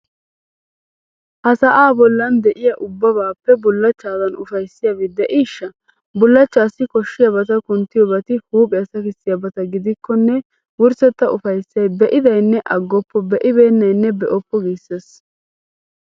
Ha sa'aa bollan de'iya ubbabaappe bullachchaadan ufayssiyabi de'iishsha! Bullachchaassi koshshiyabata kunttiyobati huuphiya sakissiyabata gidikkonne wurssetta ufayssay be'idaynne aggoppo, be'ennaynne be'oppo giissees.